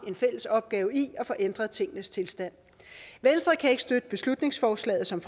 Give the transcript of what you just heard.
en fælles opgave i at få ændret tingenes tilstand venstre kan ikke støtte beslutningsforslaget som